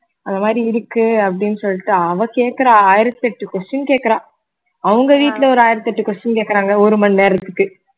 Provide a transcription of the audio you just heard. அந்த மாதிரி இருக்கு அப்படின்னு சொல்லிட்டு அவ கேக்குறா ஆயிரத்தி எட்டு question கேக்குறா அவங்க வீட்ல ஒரு ஆயிரத்தி எட்டு question கேட்கிறாங்க ஒரு மணி நேரத்துக்கு